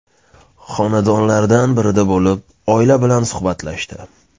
Xonadonlardan birida bo‘lib, oila bilan suhbatlashdi.